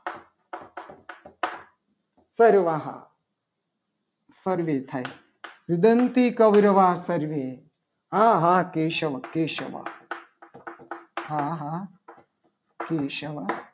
સર્વે થાય છે. રૂદંતી કૌરવ વાહ સર્વે આહા કેશવ કેશવ હા હા કેશવ